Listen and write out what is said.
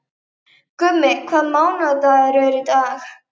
Gummi, hvaða mánaðardagur er í dag?